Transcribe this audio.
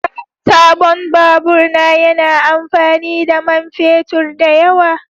Sabon babur na yana amfani da man fetur da yawa